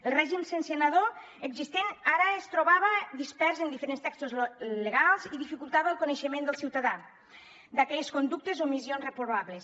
el règim sancionador existent ara es trobava dispers en diferents textos legals i dificultava el coneixement del ciutadà d’aquelles conductes o omissions reprovables